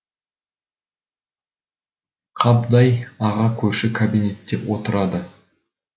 қабдай аға көрші кабинетте отырады